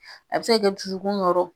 A be se ka kɛ dusukun nɔrɔ